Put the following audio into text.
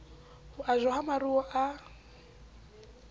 ho ajwa ha maruo a